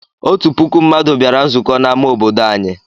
Otu puku mmadụ bịara nzukọ n'amá obodo anyị.